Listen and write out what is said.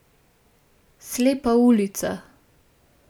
Slepa ulica.